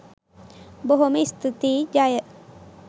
බොහොම ස්තුතියි ජය.